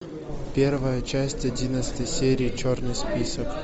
первая часть одиннадцатой серии черный список